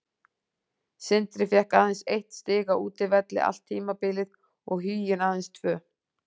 Sindri fékk aðeins eitt stig á útivelli allt tímabilið og Huginn aðeins tvö.